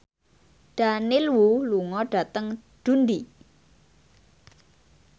Daniel Wu lunga dhateng Dundee